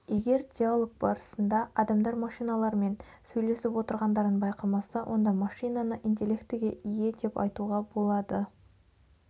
егер диалог барысында адамдар машиналармен сөйлесіп отырғандарын байқамаса онда машинаны интеллектіге ие деп айтуға болады